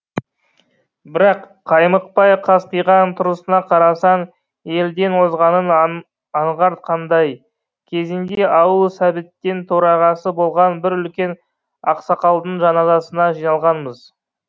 бірақ қаймықпай қасқиған тұрысына қарасаң елден озғанын аңғартқандай кезінде ауыл сәбеттің төрағасы болған бір үлкен ақсақалдың жаназасына жиналғанбыз